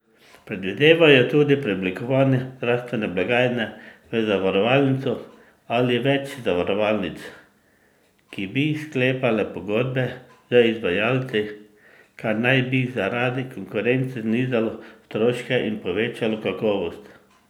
Predvidevajo tudi preoblikovanje zdravstvene blagajne v zavarovalnico ali več zavarovalnic, ki bi sklepale pogodbe z izvajalci, kar naj bi zaradi konkurence znižalo stroške in povečalo kakovost.